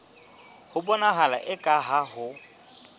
ho bonahala eka ha ho